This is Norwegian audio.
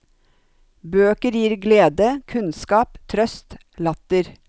Bøker glir glede, kunnskap, trøst, latter.